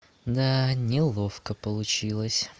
да неловко получилось